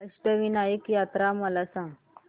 अष्टविनायक यात्रा मला सांग